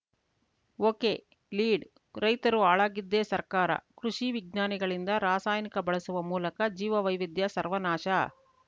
ಒಕೆಲೀಡ್‌ ರೈತರು ಹಾಳಾಗಿದ್ದೇ ಸರ್ಕಾರ ಕೃಷಿ ವಿಜ್ಞಾನಿಗಳಿಂದ ರಾಸಾಯನಿಕ ಬಳಸುವ ಮೂಲಕ ಜೀವವೈವಿಧ್ಯ ಸರ್ವನಾಶ